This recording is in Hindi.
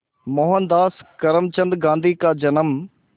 मोहनदास करमचंद गांधी का जन्म